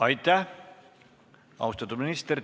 Aitäh, austatud minister!